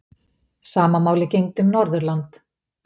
Sama máli gegndi um Norðurland.